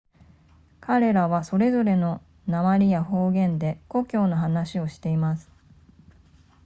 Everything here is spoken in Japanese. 彼らはそれぞれの訛りや方言で故郷の話をしています